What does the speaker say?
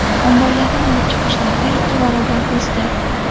Omborlardan olib chiqish narxi ikki barobar o‘sdi.